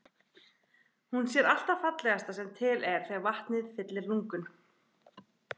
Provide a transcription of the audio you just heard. Hún sér allt það fallegasta sem til er þegar vatnið fyllir lungun.